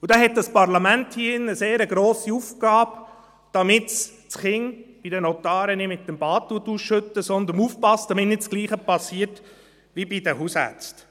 Und hier hat das Parlament in diesem Saal eine grosse Aufgabe, damit man das Kind bei den Notaren nicht mit dem Bad ausschüttet, sondern aufpasst, damit nicht dasselbe geschieht wie bei den Hausärzten.